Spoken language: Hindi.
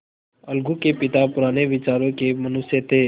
अलगू के पिता पुराने विचारों के मनुष्य थे